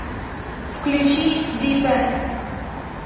включи дип энд